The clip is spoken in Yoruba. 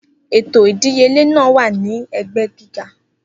Eto idiyele naa wa ni ẹgbẹ giga.